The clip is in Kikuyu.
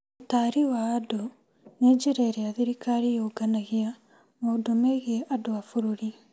ũtari wa andũ nĩ njĩra ĩrĩa thirikari yũnganagia maũndũ megiĩ andũ a bũrũri.